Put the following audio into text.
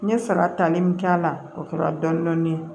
N ye saga tani min k'a la o kɛra dɔɔnin dɔɔnin ye